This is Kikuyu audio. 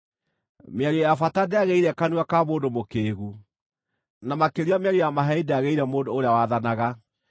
Mĩario ya bata ndĩagĩrĩire kanua ka mũndũ mũkĩĩgu, na makĩria mĩario ya maheeni ndĩagĩrĩire mũndũ ũrĩa wathanaga!